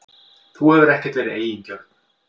Þú hefur ekkert verið eigingjörn.